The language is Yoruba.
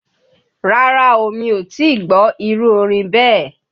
Rárá o, mi ò tí ì gbọ́ irú orin bẹ́ẹ̀.